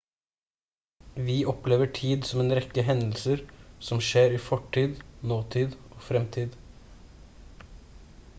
vi opplever tid som en rekke hendelser som skjer i fortid nåtid og fremtid